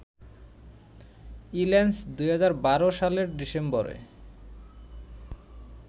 ইল্যান্স ২০১২ সালের ডিসেম্বরে